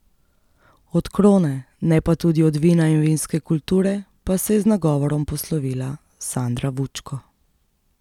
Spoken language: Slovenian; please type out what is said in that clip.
Od krone, ne pa tudi od vina in vinske kulture pa se je z nagovorom poslovila Sandra Vučko.